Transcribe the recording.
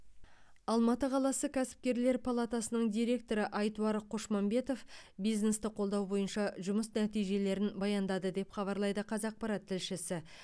алматы қаласы кәсіпкерлер палатасының директоры айтуар қошмамбетов бизнесті қолдау бойынша жұмыс нәтижелерін баяндады деп хабарлайды қазақпарат тілшісі